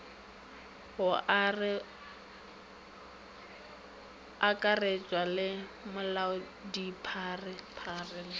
go akaretšwa le molaodipharephare le